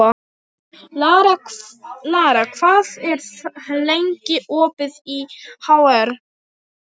Lara, hvað er lengi opið í HR?